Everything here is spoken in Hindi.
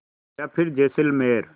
या फिर जैसलमेर